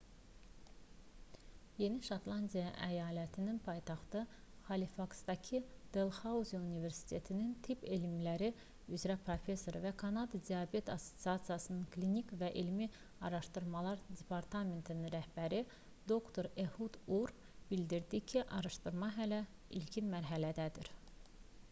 yeni şotlandiya əyalətinin paytaxtı halifaksdaki delxauzi universitetinin tibb elmləri üzrə professoru və kanada diabet assosiasiyasının klinik və elmi araşdırmalar departamentinin rəhbəri dr ehud ur bildirdi ki araşdırma hələ ilkin mərhələdədir